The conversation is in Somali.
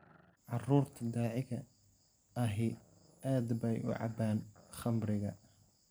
Carruurta daaciga ahi aad bay u cabbaan khamriga .